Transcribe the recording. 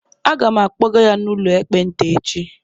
Aga m akpọga ya n'ụlọ ekpenta echi